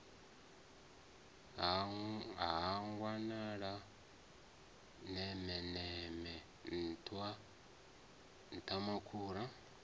ha wanala nemeneme nṱhwa nṱhwamakhura